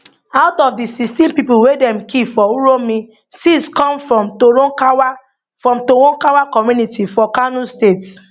out of di 16 pipo wey dem kill for uromi six come from toronkawa from toronkawa community for kano state